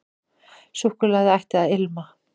Súkkulaði ætti að ilma.